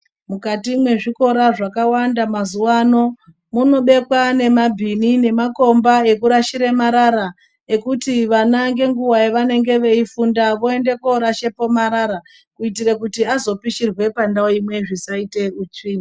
Mukati mwezvikora zvakawanda mazuwano munobekwa nemabhini nemakomba ekurashira marara ekuti vana ngenguwa yavanenge veifunda voende korashepo marara kuitire kuti azopishirwa pandau imwe zvisaite utsvina